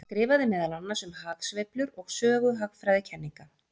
Hann skrifaði meðal annars um hagsveiflur og sögu hagfræðikenninga.